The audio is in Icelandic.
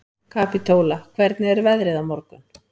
Kapítóla, hvernig er veðrið á morgun?